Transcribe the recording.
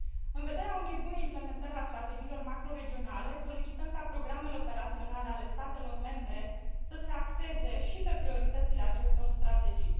În vederea unei bune implementări a strategiilor macroregionale, solicităm ca programele operaționale ale statelor membre să se axeze și pe prioritățile acestor strategii.